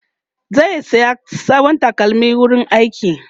zai saya sabon takalmin wurin aiki